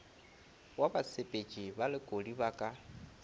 wa basepetši balekodi ba ka